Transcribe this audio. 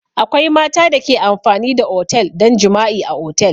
Akwai mata da ke amfani da otel don jima'i a otel.